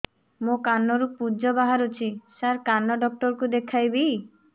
ମୋ କାନରୁ ପୁଜ ବାହାରୁଛି ସାର କାନ ଡକ୍ଟର କୁ ଦେଖାଇବି